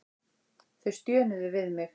Þau stjönuðu við mig.